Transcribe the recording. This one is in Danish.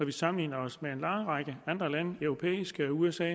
vi sammenligner os med en lang række andre lande i europa og med usa